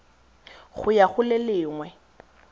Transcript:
go ya go le lengwe